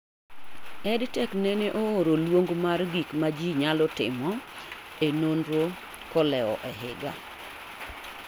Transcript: EdTech nene ooro luong' mar gik ma ji nyalo timo e nonro kolewo ehiga